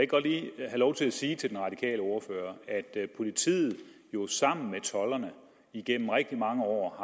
godt lige have lov til at sige til den radikale ordfører at politiet jo igennem rigtig mange år